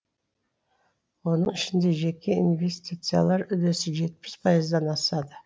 оның ішінде жеке инвестициялар үлесі жетпіс пайыздан асады